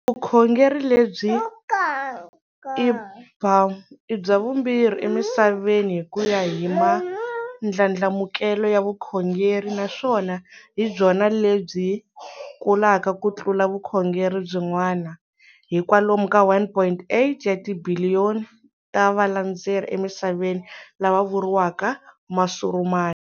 Vukhongeri lebyi i bya vumbirhi emisaveni hikuya hi mandlandlamukele ya vukhongeri naswona hibyona lebyi kulaka ku tlula vukhongeri byin'wana, hi kwalomu ka 1.8 wa tibhiliyoni ta valandzeri emisaveni, lava vuriwaka Masurumani.